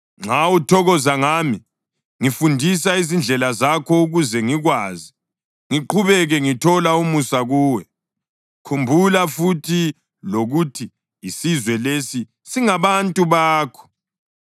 Nxa uthokoza ngami, ngifundisa izindlela zakho ukuze ngikwazi, ngiqhubeke ngithola umusa kuwe. Khumbula futhi lokuthi isizwe lesi singabantu bakho.”